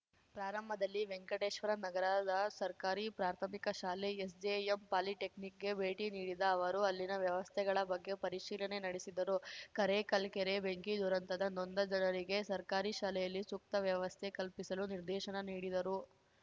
ಪ್ರಾರಂಭದಲ್ಲಿ ವೆಂಕಟೇಶ್ವರ ನಗರದ ಸರ್ಕಾರಿ ಪ್ರಾಥಮಿಕ ಶಾಲೆ ಎಸ್‌ಜೆಎಂ ಪಾಲಿಟೆಕ್ನಿಕ್‌ಗೆ ಭೇಟಿ ನೀಡಿದ ಅವರು ಅಲ್ಲಿನ ವ್ಯವಸ್ಥೆಗಳ ಬಗ್ಗೆ ಪರಿಶೀಲನೆ ನಡೆಸಿದರು ಕರೇಕಲ್‌ ಕೆರೆ ಬೆಂಕಿ ದುರಂತದ ನೊಂದ ಜನರಿಗೆ ಸರ್ಕಾರಿ ಶಾಲೆಯಲ್ಲಿ ಸೂಕ್ತ ವ್ಯವಸ್ಥೆ ಕಲ್ಪಿಸಲು ನಿರ್ದೇಶನ ನೀಡಿದರು